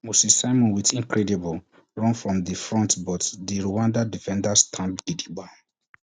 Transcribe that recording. moses simon wit incredible run from di front but di rwanda defenders stand gidigba